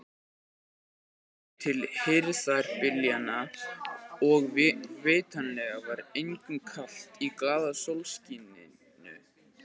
Þá voru fengnir bakarar frá Austurríki og með þeim kom hugmyndin að smjördeigi.